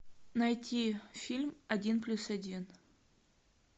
найти фильм один плюс один